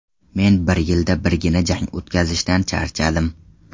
Men bir yilda birgina jang o‘tkazishdan charchadim.